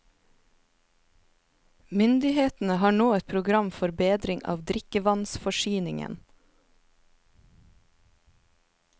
Myndighetene har nå et program for bedring av drikkevannsforsyningen.